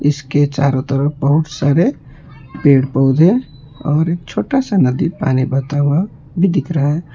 इसके चारों तरफ बहुत सारे पेड़ पौधे और एक छोटा सा नदी पानी बताओ अब भी दिख रहा है।